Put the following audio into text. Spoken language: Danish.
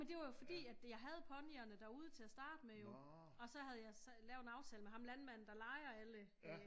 Men det var jo fordi at jeg havde ponyerne derude til at starte med jo og så havde jeg så lavet en aftale med ham landmanden der lejer alle øh